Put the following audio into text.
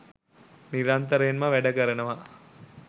නිරන්තරයෙන්ම වැඩකරනවා